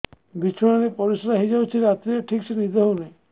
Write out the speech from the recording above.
ବିଛଣା ରେ ପରିଶ୍ରା ହେଇ ଯାଉଛି ରାତିରେ ଠିକ ସେ ନିଦ ହେଉନାହିଁ